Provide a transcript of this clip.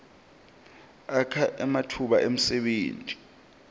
akha ematfuba emsebenti